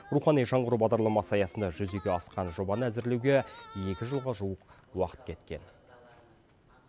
рухани жаңғыру бағдарламасы аясында жүзеге асқан жобаны әзірлеуге екі жылға жуық уақыт кеткен